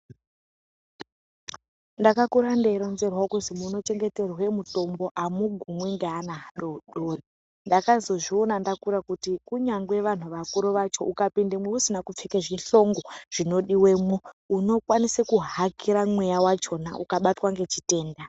Ndakakura ndeironzèrwa kuzi munochengeterwa mitombo amugumwi ngeana adodori ndakazozviona ndakura kuti kunyangwe vanhu vakuru vacho ukapindemo usina kupfeka zvihlongwa zvinodiwemo unokwanisa kuhakira mweya wachona ukabatwa ngezvitenda .